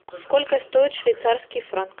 сколько стоит швейцарский франк